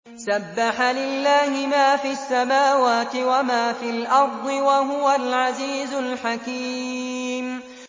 سَبَّحَ لِلَّهِ مَا فِي السَّمَاوَاتِ وَمَا فِي الْأَرْضِ ۖ وَهُوَ الْعَزِيزُ الْحَكِيمُ